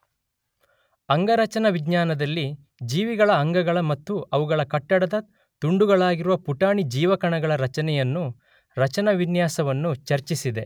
ಅಂಗರಚನಾವಿಜ್ಞಾನದಲ್ಲಿ ಜೀವಿಗಳ ಅಂಗಗಳ ಮತ್ತು ಅವುಗಳ ಕಟ್ಟಡದ ತುಂಡುಗಳಾಗಿರುವ ಪುಟಾಣಿ ಜೀವಕಣಗಳ ರಚನೆಯನ್ನೂ ರಚನಾವಿನ್ಯಾಸವನ್ನೂ ಚರ್ಚಿಸಿದೆ.